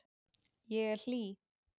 Ég er hlý.